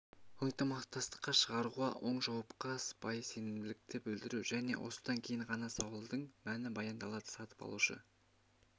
ынтымақтастыққа шақыруға оң жауапқа сыпайы сенімділікті білдіру және осыдан кейін ғана сауалдың мәні баяндалады сатып алушы